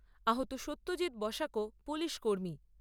আহত সত্যজিৎ বসাকও পুলিশ কর্মী।